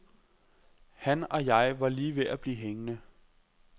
Han og jeg var lige ved at blive hængende.